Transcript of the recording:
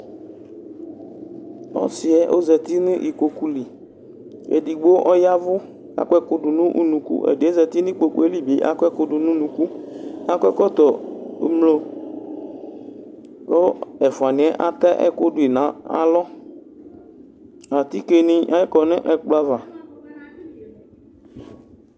ɔsi yɛ zati nu ikpoku liedigbo ɔyavʋ akɔ ɛkudu nu unuku ɛdiyɛ zati nu ikpoku yɛ li bi akɔ ɛku dunu unukuakɔ ɛkɔtɔ umloku ɛfua ni yɛ atɛ ɛku duyi nu alɔAtike ni akɔ nu ɛkplɔ'ava